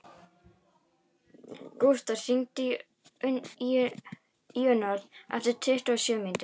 Gústaf, hringdu í Íunnarð eftir tuttugu og sjö mínútur.